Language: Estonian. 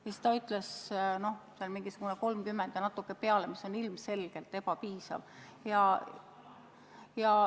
Vastati, et 30 apteeki ja natuke peale, mis on ilmselgelt ebapiisav.